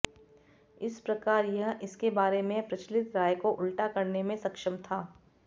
इस प्रकार यह इसके बारे में प्रचलित राय को उल्टा करने में सक्षम था